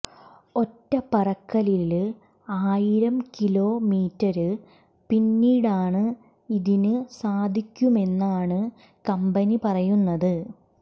ഒറ്റ പറക്കലില് ആയിരം കിലോ മീറ്റര് പിന്നിടാന് ഇതിന് സാധിക്കുമെന്നാണ് കമ്പനി പറയുന്നത്